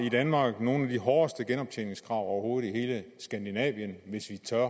i danmark nogle af de hårdeste genoptjeningskrav overhovedet i hele skandinavien hvis vi tør